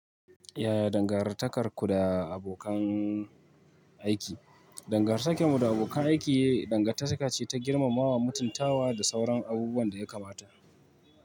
Yaya dangantakarku da abokan aiki? Dangantakar mu da abokan aiki dangantaka ce ta girmamawa, mutuntawa da sauran abubuwan da ya kamata.